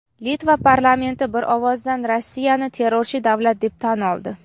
Litva parlamenti bir ovozdan Rossiyani terrorchi davlat deb tan oldi.